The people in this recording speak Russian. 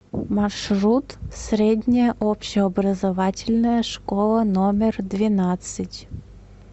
маршрут средняя общеобразовательная школа номер двенадцать